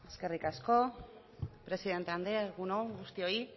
eskerrik asko presidente andrea egun on guztioi